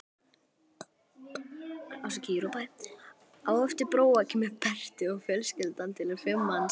Á eftir Bróa kemur Berti og fjölskyldan telur fimm manns.